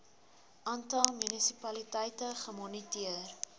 aantal munisipaliteite gemoniteer